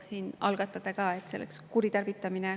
See oleks kolleegide aja kuritarvitamine.